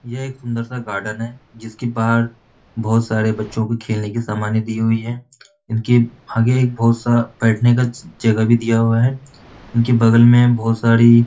यह एक सुंदर सा गार्डन है जिसके बाहर बहुत सारे बच्चों के खेलने के समानें दी हुई है इनके आगे एक बहुत सा बैठने का जगह भी दिया हुआ है उनके बगल में बहुत सारी --